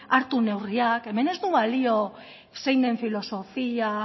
hartu neurriak hemen ez du balio zein den filosofia